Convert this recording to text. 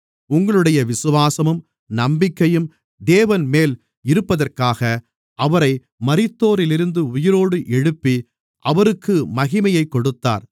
உங்களுடைய விசுவாசமும் நம்பிக்கையும் தேவன்மேல் இருப்பதற்காக அவரை மரித்தோரிலிருந்து உயிரோடு எழுப்பி அவருக்கு மகிமையைக் கொடுத்தார்